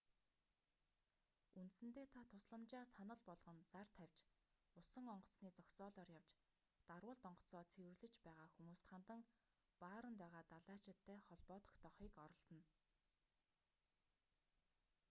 үндсэндээ та тусламжаа санал болгон зар тавьж усан онгоцны зогсоолоор явж дарвуулт онгоцоо цэвэрлэж байгаа хүмүүст хандан бааранд байгаа далайчидтай холбоо тогтоохыг оролдоно